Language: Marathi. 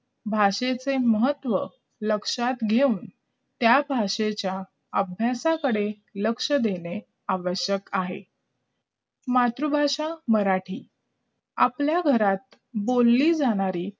भाषेच्या महत्त्व लक्षात ठेवून त्या भाषेच्या अभयस कडे लक्ष देणे आवश्यक आहे मातृभाषा मराठी आपल्या घरात बोले जानारे